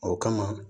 O kama